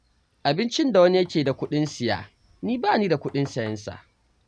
Abincin da wani yake da kuɗin siya, ni ba ni da kuɗin sayensa.